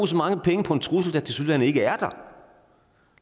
så mange penge på en trussel der tilsyneladende ikke er der